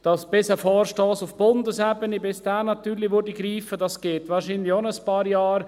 Bis ein Vorstoss auf Bundesebene greift, dauert es wahr scheinlich auch ein paar Jahre.